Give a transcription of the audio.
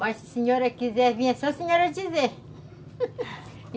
Mas se a senhora quiser vir, é só a senhora dizer